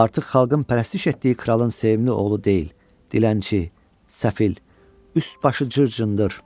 Artıq xalqın pərəstiş etdiyi kralın sevimli oğlu deyil, dilənçi, səfil, üst-başı cır-cındır.